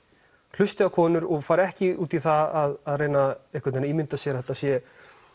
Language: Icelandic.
hlusti á konur og fari ekki í út í það að reyna einhvern veginn að ímynda sér að það sé